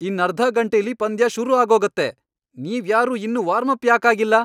ಇನ್ನರ್ಧ ಗಂಟೆಲಿ ಪಂದ್ಯ ಶುರು ಆಗೋಗತ್ತೆ. ನೀವ್ಯಾರೂ ಇನ್ನೂ ವಾರ್ಮಪ್ ಯಾಕ್ ಆಗಿಲ್ಲ?